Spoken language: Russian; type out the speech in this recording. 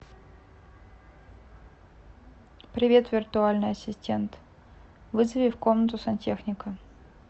привет виртуальный ассистент вызови в комнату сантехника